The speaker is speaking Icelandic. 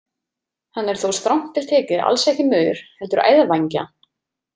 Hann er þó strangt til tekið alls ekki maur heldur æðvængja.